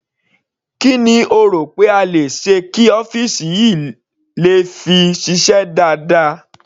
Kí ni o rò pé a le ṣe kí ọ́fìsì yìí le fi ṣiṣẹ́ dáadáa.